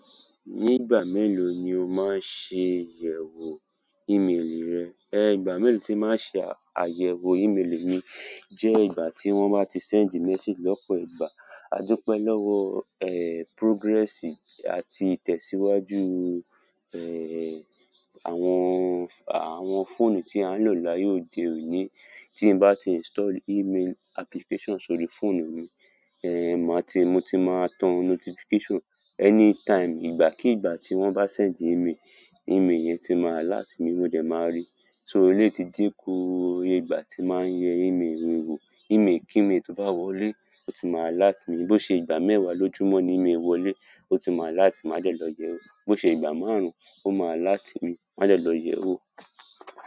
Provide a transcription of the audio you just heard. Ní ìgbà mélòó ni o máa ń ṣe àyẹ̀wò ímélì rẹ? Ẹ̀, ìgbà mélòó tí màá ṣe àyẹ̀wò ímélì mi jẹ́ ìgbà tí wọ́n bá ti sẹ́ǹdì mésèjì lọ́pọ̀ ìgbà. Adúpe lọ́wọ́, progress àti ìtẹ̀síwájú, àwọn, àwọn fọ́ọ̀nù tí a ń lò láyé òde òní. Tí bá ti install email application sórí fóònù mi, màá ti, mo ti máa tàn notification anytime. Ìgbà kí ìgbà tí wọ́n bá sẹ́ǹdì ímélì, ímélì yẹn ti máa alert mi, mo dẹ̀ máa rí. So ó lè ti dínku kù iye ìgbà tí màá yẹ ímélì mi wò. Ímélì kí ímélì tó bá wọlé o tí máa alert mi. Bí ó ṣe ìgbà mẹ́wàá lójúmọ́ ni ímélì wọlé, ó ti máa alert màá dẹ̀ lọ yẹ̀wò. Bí ó ṣe ìgbà márùn-ún, ó máa láti mi, màá jẹ́ lọ yẹ̀wò.